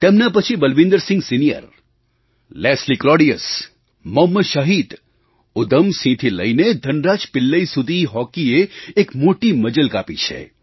તેમના પછી બલવિંદરસિંહ સિનિયર લેસ્લી ક્લૉડિયસ મોહમ્મદ શાહિદ ઉધમસિંહથી લઈને ધનરાજ પિલ્લઈ સુધી હૉકીએ એક મોટી મજલ કાપી છે